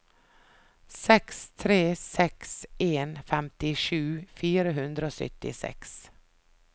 seks tre seks en femtisju fire hundre og syttiseks